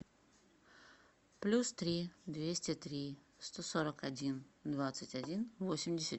плюс три двести три сто сорок один двадцать один восемьдесят